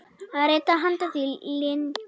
að reyta handa því lyng.